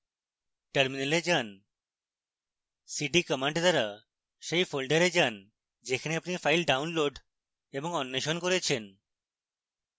terminal যান cd command দ্বারা সেই ফোল্ডারে যান যেখানে আপনি ফাইল ডাউনলোড এবং অন্বেষণ করেছেন